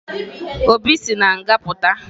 Obinna si na nga pụta